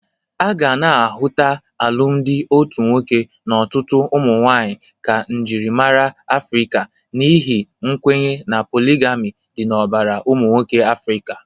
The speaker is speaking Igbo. A ga na-ahụta alụmdị otu nwoke na ọtụtụ ụmụnwaanyị ka njịrịmara Afrịka n'ihi nkwenye na poligami dị n'ọbara ụmụnwoke Afrịka.